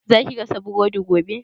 Za ki gasa burodi gobe?